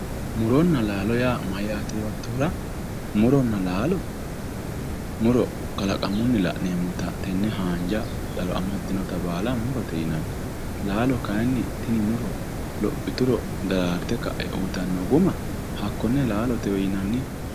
Muronna laalo yaa mayyaate yoottohura, muronna aalo, muro kalaqamunni la'nemmota tenne haanja daro amaddinota baala murote yinanni. Laalo kaayiinni tini muro lophituro daraarte kae uuyiitanno guma hakkonne laalotewe yinanni.